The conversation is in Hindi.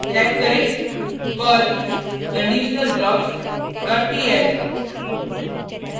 टाइप करें perl conditionalblocks dot pl